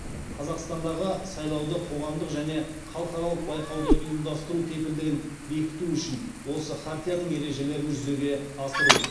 қазақстандағы сайлауды қоғамдық және халықаралық байқауды ұйымдастыру кепілдігін бекіту үшін осы хартияның ережелерін жүзеге асыру